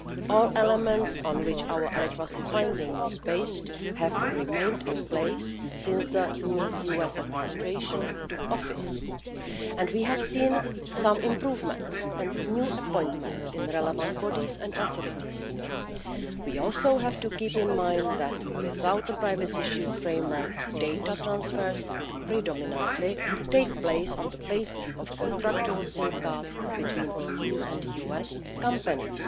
All the elements on which our adequacy finding was based have remained in place since the new US administration took office, and we have seen some improvements and new appointments in the relevant bodies and authorities. We also have to keep in mind that without the Privacy Shield framework, data transfers would predominantly take place on the basis of contractual safeguards between EU and US companies.